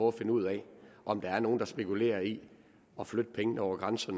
at finde ud af om der er nogle der spekulerer i at flytte pengene over grænserne